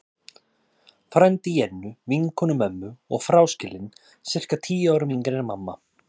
Frændi Jennu, vinkonu mömmu, og fráskilinn, sirka tíu árum yngri en mamma.